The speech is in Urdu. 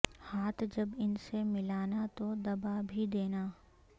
ہاتھ جب ان سے ملانا تو دبا بھی دینا